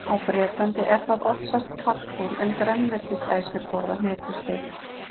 Á Bretlandi er það oftast kalkúnn, en grænmetisætur borða hnetusteik.